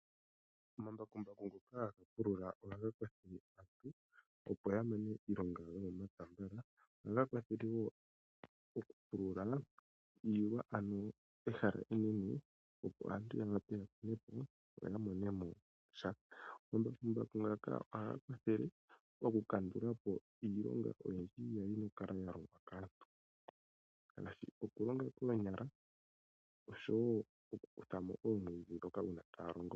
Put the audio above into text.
Omambakumbaku ngoka hag pulula ohaga kwathele aantu opo yamane iilonga yawo yomomapya mbala. Ohaga kwathele wo okupulula iilwa ano ehala enene opo aantu ya vule okukuna po yo yamonemo sha. Omambakumbaku ngaka ohaga kwathele okukandulapo iilonga oyindji mbyoka kwali yina okulongwa kaantu ngaashi okulonga koonyala noshowo okukuthamo omwiidhi ngoka uuna taya longo.